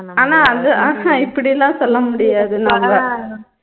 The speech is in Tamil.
ஆனா வந்து அஹ் ஹம் இப்படியெல்லாம் சொல்ல முடியாது நம்ப